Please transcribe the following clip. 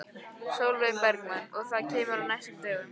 Sólveig Bergmann: Og það kemur á næstu dögum?